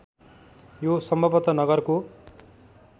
यो सम्भवतः नगरको